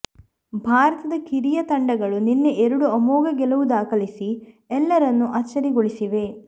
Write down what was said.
ಭಾರತದ ಕಿರಿಯರ ತಂಡಗಳು ನಿನ್ನೆ ಎರಡು ಅಮೋಘ ಗೆಲುವು ದಾಖಲಿಸಿ ಎಲ್ಲರನ್ನೂ ಅಚ್ಚರಿಗೊಳಿಸಿವೆ